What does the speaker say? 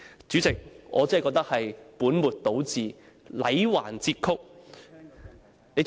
"主席，我真的認為這才是本末倒置、戾橫折曲。